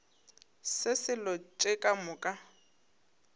se selo tše ka moka